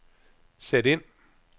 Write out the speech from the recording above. sæt ind